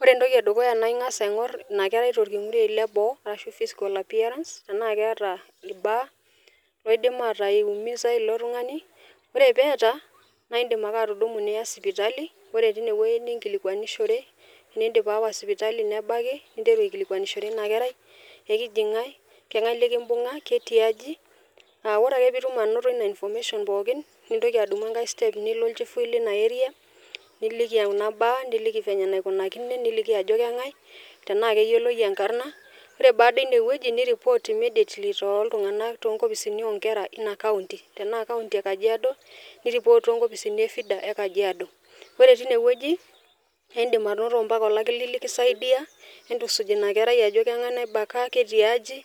Ore entoki edukuya naa ingas aingor ina kerai torkingurei le boo ashu physical appearance tena keeta irbaa loidim ataa iumiza ilo tungani. Ore peeta naa indim ake atudumu niya sipitali , ore tine wuei nikilikwanishore , tenidip aawa sipitali nebaki , ninteru aikilikwanishore ina kerai , ekiji ngae, kengae likimbunga , ketii aji . Aa ore ake pindip anoto ina information pookin , nintoki adumu enkae step nilo olchifui lina area , niliki kuna baa , niliki venye naikunakine , niliki ajo kengae , tenaa keyioloi enkarna . Ore baada ine wueji , nirereport toltunganak loo nkopisini onkera ina county. Tenaa county e kajiado , nireport too nkopisini e FIDA e kajiado. Ore tine wueji naa indim anoto mpaka olakili likisaidia entusuj ina kerai ajo kengae naibaka , ketiaaji.